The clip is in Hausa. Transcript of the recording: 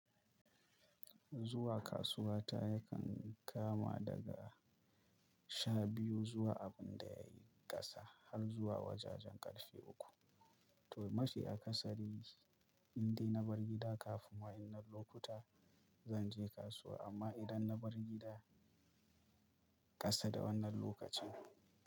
Zuwa kasuwa ta yakan kama daga sha biyu zuwa abin da ya yi ƙasa har zuwa wajajen ƙarshe uku. To, mashi a ƙasari, indai na bar gida kafin wannan lokuta, zan je kasuwa, amma idan na bar gida ƙasa da wannan lokacin.